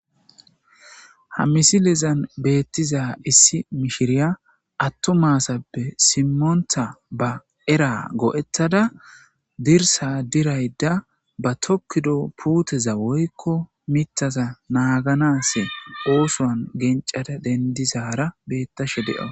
Ha misilezan betiza issi mishiriya atuma asappe simonta ba era go'eyada dirsa dirayda ba tokido mithaza woyko puteza naganas oothon gencada dendizara beyashe de'awus .